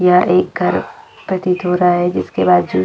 यह एक घर प्रतीत हो रहा है जिसके बाजू में--